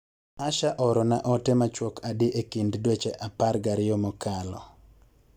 Asha oorona ote machuok adi e kind dweche apar gi ariyo mokalo